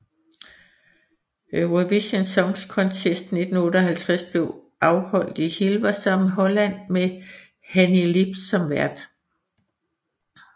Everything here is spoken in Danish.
Eurovision Song Contest 1958 blev afholdt i Hilversum i Holland med Hannie Lips som vært